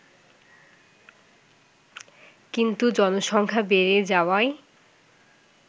কিন্তু জনসংখ্যা বেড়ে যাওয়ায়